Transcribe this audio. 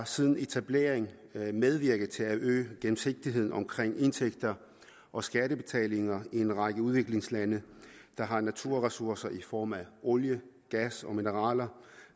siden etableringen medvirket til at øge gennemsigtigheden omkring indtægter og skattebetalinger i en række udviklingslande der har naturressourcer i form af olie gas og mineraler